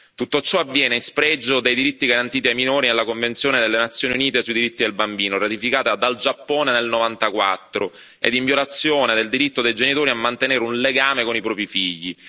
Tutto ciò avviene in spregio dei diritti garantiti ai minori nella Convenzione delle Nazioni Unite sui diritti del bambino, ratificata dal Giappone nel 1994, e in violazione del diritto dei genitori a mantenere un legame con i propri figli.